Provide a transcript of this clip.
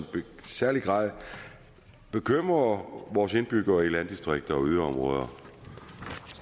særlig grad bekymrer vores indbyggere i landdistrikter